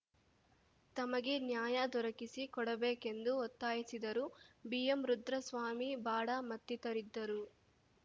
ತಮಗೆ ನ್ಯಾಯ ದೊರಕಿಸಿ ಕೊಡಬೇಕೆಂದು ಒತ್ತಾಯಿಸಿದರು ಬಿಎಂರುದ್ರಸ್ವಾಮಿ ಬಾಡ ಮತ್ತಿತರಿದ್ದರು